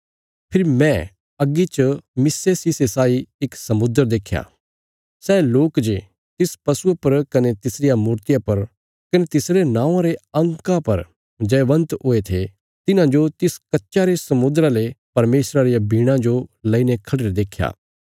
फेरी मैं अग्गी च मिस्से शीशे साई इक समुद्र देख्या सै लोक जे तिस पशुये पर कने तिसरिया मूर्तिया पर कने तिसरे नौंआं रे अंका पर जयवन्त हुये थे तिन्हांजो तिस कच्चा रे समुद्रा ले परमेशर रियां वीणां जो लईने खढ़िरे देख्या